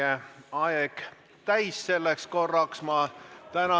Kahjuks on meie aeg selleks korraks täis.